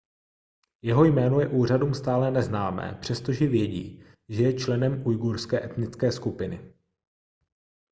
jeho jméno je úřadům stále neznámé přestože vědí že je členem ujgurské etnické skupiny